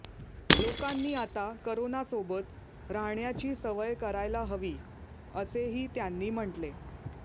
लोकांनी आता करोनासोबत राहण्याची सवय करायला हवी असेही त्यांनी म्हटले